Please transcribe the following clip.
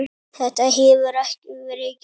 Þetta hefur ekki verið gert.